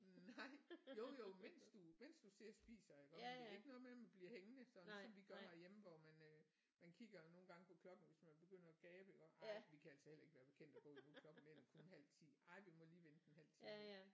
Nej jo jo mens du mens du sidder og spiser iggå men det er ikke noget med man bliver hængende sådan ligesom vi gør herhjemme hvor man øh man kigger nogle gange på klokken hvis man begynder at gabe iggå ej vi kan altså heller ikke være bekendt at gå nu klokken den er kun halv 10 ej vi må lige vente en halv time